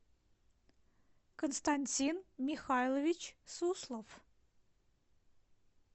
константин михайлович суслов